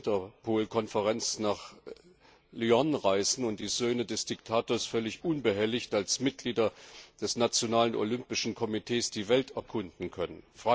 zur Interpolkonferenz nach Lyon reisen kann und die Söhne des Diktators völlig unbehelligt als Mitglieder des nationalen Olympischen Komitees die Welt erkunden können?